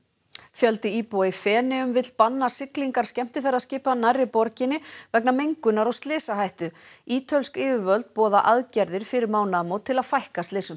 fjöldi íbúa í Feneyjum vill banna siglingar skemmtiferðaskipa nærri borginni vegna mengunar og slysahættu ítölsk yfirvöld boða aðgerðir fyrir mánaðamót til að fækka slysum